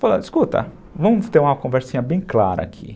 Falando, escuta, vamos ter uma conversinha bem clara aqui.